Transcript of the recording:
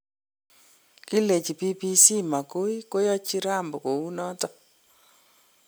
Kilechi BBC mogoi koyochi Rambo kounoton.